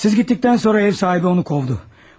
Siz gedəndən sonra ev sahibi onu qovdu.